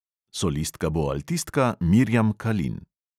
Solistka bo altistka mirjam kalin.